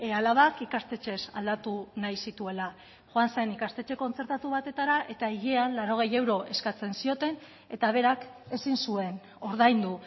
alabak ikastetxez aldatu nahi zituela joan zen ikastetxe kontzertatu batetara eta hilean laurogei euro eskatzen zioten eta berak ezin zuen ordaindu